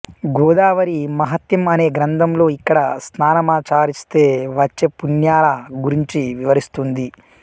గోదావరి మహత్యం అనే గ్రంథంలో ఇక్కడ స్నానామాచారిస్తే వచ్చే పుణ్యాల గురించి వివరిస్తుంది